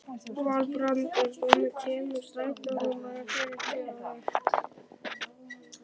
Valbrandur, hvenær kemur strætó númer fjörutíu og eitt?